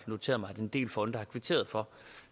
noteret mig at en del fonde har kvitteret for